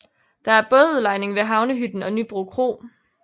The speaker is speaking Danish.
Der er bådudlejning ved Havnehytten og Nybro Kro